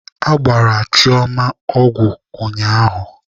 Agbara Chioma ọgwụ ụnyaahụ.